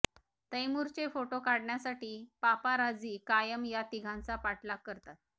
तैमुरचे photo काढण्यासाठी paparazzi कायम या तिघांचा पाठलाग करतात